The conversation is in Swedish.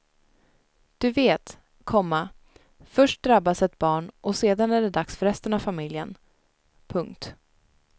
Du vet, komma först drabbas ett barn och sedan är det dags för resten av familjen. punkt